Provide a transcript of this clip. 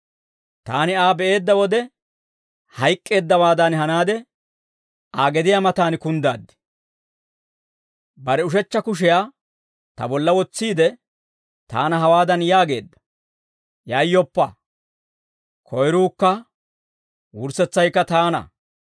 Taani Aa be'eedda wode hayk'k'eeddawaadan hanaade, Aa gediyaa matan kunddaad. Bare ushechcha kushiyaa ta bolla wotsiide, taana hawaadan yaageedda; «Yayyoppa; koyruukka wurssetsaykka taana.